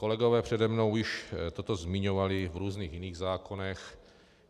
Kolegové přede mnou již toto zmiňovali v různých jiných zákonech.